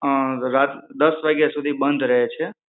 અં રાત દસ વાગ્યા સુધી બંધ રહે છે